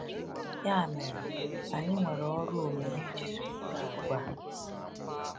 Ya mere, anyị nwere ọrụ omume iji zụlite àgwà a.